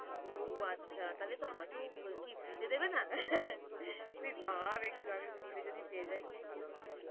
ও আচ্ছা তাহলে তো আমাকে ও কি free তে দেবে না? তুই ভাব একটু আমি free তে যদি পেয়ে যাই কি ভালো হবে?